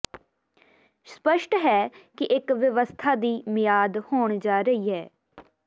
ਸਪੱਸ਼ਟ ਹੈ ਕਿ ਇੱਕ ਵਿਵਸਥਾ ਦੀ ਮਿਆਦ ਹੋਣ ਜਾ ਰਹੀ ਹੈ